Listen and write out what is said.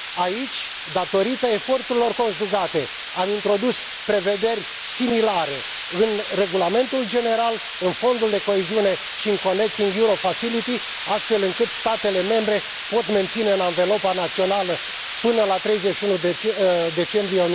Aici, datorită eforturilor conjugate, am introdus prevederi similare în regulamentul general, în Fondul de coeziune și în Connecting Europe Facility, astfel încât statele membre pot menține în anvelopa națională până la 31 decembrie